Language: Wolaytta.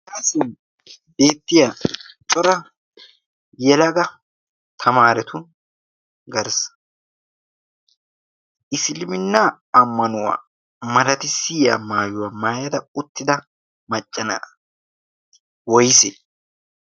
Haga sohuwan beettiya cora yelaga tamaarettu garssa isiliiminnaa ammanuwaa malatissiyiya maayuwaa maayidi uttida macca naati woysee?